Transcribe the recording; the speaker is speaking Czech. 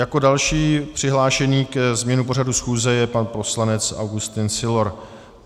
Jako další přihlášený ke změně pořadu schůze je pan poslanec Augustin Sylor.